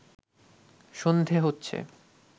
সন্ধে হচ্ছে